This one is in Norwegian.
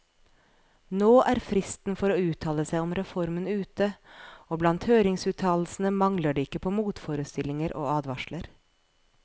Nå er fristen for å uttale seg om reformen ute, og blant høringsuttalelsene mangler det ikke på motforestillinger og advarsler.